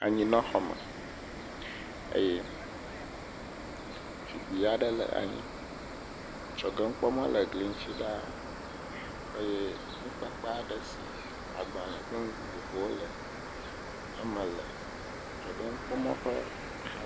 Anyinɔxɔme eye zikpui aɖe le anyi. Dzɔgenukpɔmɔ le gli ŋuti ɖaa. Eye nukpakpa aɖe si agbale kple nu vovovowo le eme le. Dzɔgenukpɔmɔ ƒe.